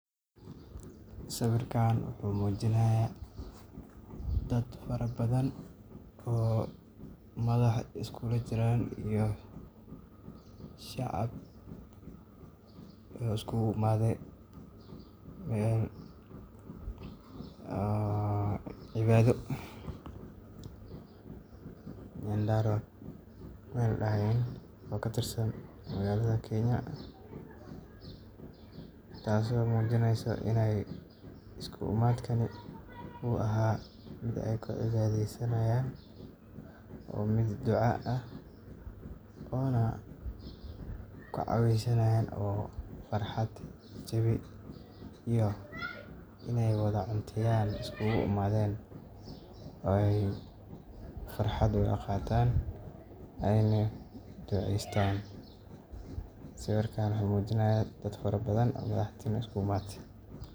Sawirkan wuxu mujinaya dad fara badhan oo madhax iyo shicib iskujiran, oo isku iimadhen sii oo cibado taaso oo muujinaso in farhad gaadasho kuusumeyaan.